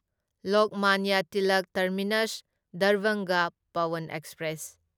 Lokmanya Tilak terminus Darbhanga Pawan express